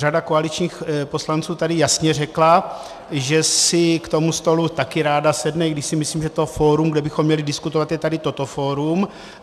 Řada koaličních poslanců tady jasně řekla, že si k tomu stolu také ráda sedne, i když si myslím, že to fórum, kde bychom měli diskutovat, je tady toto fórum.